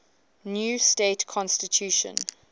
new state constitution